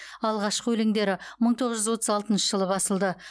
алғашқы өлеңдері мың тоғыз жүз отыз алтыншы жылы басылды